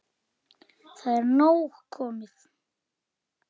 Það er nóg komið.